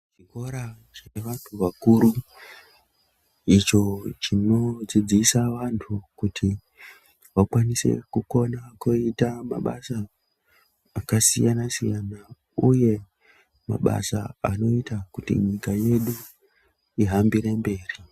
Chikora cheantu akuru icho chinodzidzisa antu kuti vakwanise kukona kuita mabasa akasiyana siyana uye mabasa anoita kuti nyika yedu ihambire mberi.